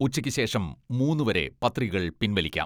ഉച്ചയ്ക്ക് ശേഷം മൂന്ന് വരെ പത്രികകൾ പിൻവലിക്കാം.